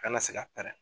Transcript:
Kana na se ka pɛrɛn